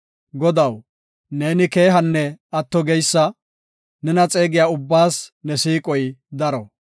Godaw, neeni keehanne atto geysa; nena xeegiya ubbaas ne siiqoy daro.